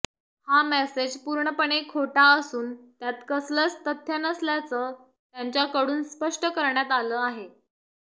हा मेसेज पूर्णपणे खोटा असून त्यात कसलंच तथ्य नसल्याचं त्यांच्याकडून स्पष्ट करण्यात आलं आहे